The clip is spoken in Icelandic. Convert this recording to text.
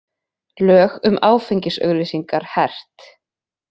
Lög um áfengisauglýsingar hert